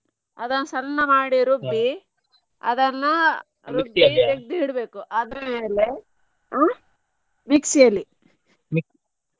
ಅದನ್ನ ಸಣ್ಣ ಮಾಡಿ ಅದನ್ನ ಬೇರೆ ತಗದು ಇಡ್ಬೇಕು ಅದ್ರ ಮೇಲೆ ಹಾ mixie ಅಲ್ಲಿ.